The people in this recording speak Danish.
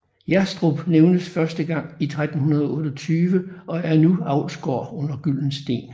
Jerstrup nævnes første gang i 1328 og er nu en avlsgård under Gyldensteen